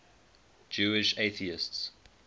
jewish atheists